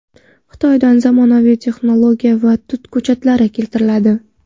Xitoydan zamonaviy texnologiya va tut ko‘chatlari keltiriladi.